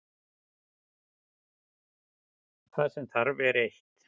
Það sem þarf er eitt.